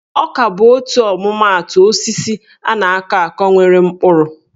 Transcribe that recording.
Ọka bụ otu ọmụmaatụ osisi a na-akọ akọ nwere mkpụrụ.